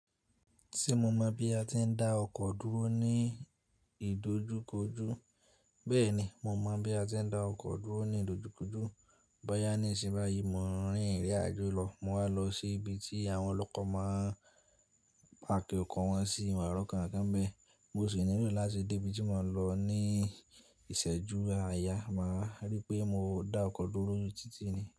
Se mo mọ̀ bí a ti ń dá ọkọ̀ dúró ní ìdojúkojú, bẹ́ẹ̀ni, mo mọ̀ bí a ti ń dá ọkọ̀ dúró ní ìdojúkojú. Boya ni n siyin báyìí, mò ń rin ìrín àjò lọ, mo wa lọ sí ibi tí àwọn olókọ̀ máa ń páàkì ọkọ̀ wọn sí n wà rọ̀ko kánkan n be, mo sì nílò láti dé ibi tí mò ń lọ ní ìsẹ́jú aaya. Màá rí pé mò dá ọkọ̀ dúró ni títí ni.